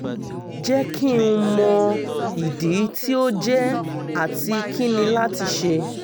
jẹ ki n mọ idi ti o jẹ ati kini lati ṣe?